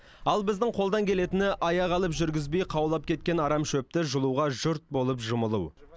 ал біздің қолдан келетіні аяқ алып жүргізбей қаулап кеткен арам шөпті жұлуға жұрт болып жұмылу